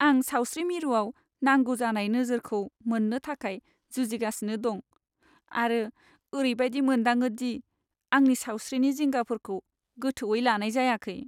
आं सावस्रि मिरुआव नांगौ जानाय नोजोरखौ मोननो थाखाय जुजिगासिनो दं, आरो ओरैबायदि मोनदाङो दि आंनि सावस्रिनि जिंगाफोरखौ गोथौवै लानाय जायाखै।